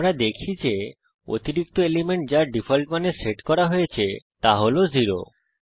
আমরা দেখি যে অতিরিক্ত এলিমেন্ট যা ডিফল্ট মানে সেট করা হয়েছে তা হল 0